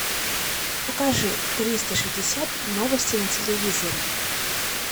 покажи триста шестьдесят новости на телевизоре